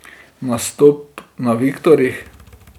Nastop na Viktorjih.